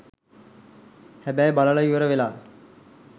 හැබැයි බලලා ඉවර වෙලා